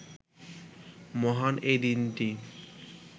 মহান এই দিনটি